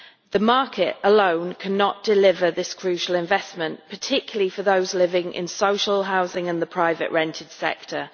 The market alone cannot deliver this crucial investment, particularly for those living in social housing and the private rental sector.